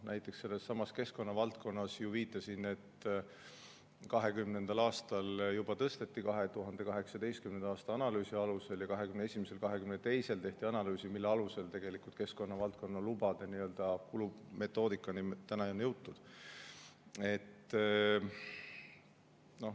Näiteks sellessamas keskkonna valdkonnas, ma viitasin, et 2020. aastal juba tõsteti 2018. aasta analüüsi alusel, aga 2021. ja 2022. tehti analüüsid, mille alusel nüüdseks on keskkonna valdkonna lubade kulu metoodikani jõutud.